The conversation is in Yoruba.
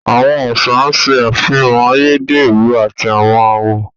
Àwọn aṣa n ṣẹ afihàn ayédérọ̀ àti awọn àwọ̀